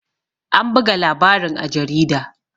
An buga labarin a jarida